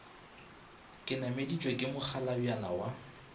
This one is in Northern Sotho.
ke nameditšwe ke mokgalabjana wa